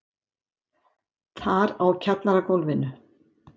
Þar á kjallaragólfinu.